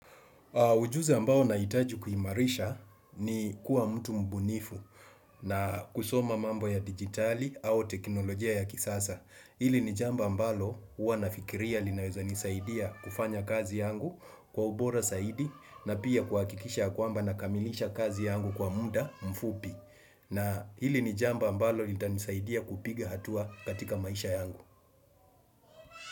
Ujuzi ambao nahitaji kuimarisha ni kuwa mtu mbunifu na kusoma mambo ya digitali au teknolojia ya kisasa. Hili ni jambo mbalo wanafikiria linaweza nisaidia kufanya kazi yangu kwa ubora zaidi na pia kuakikisha kwa mba nakamilisha kazi yangu kwa muda mfupi. Na hili ni jambo ambalo litanisaidia kupiga hatua katika maisha yangu.